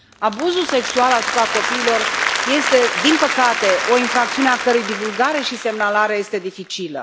Abuzul sexual asupra copiilor este, din păcate, o infracțiune a cărei divulgare și semnalare este dificilă.